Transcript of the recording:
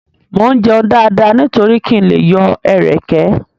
Mo ń jẹun dáadáa nítorí kí n lè yọ ẹ̀rẹ̀kẹ́.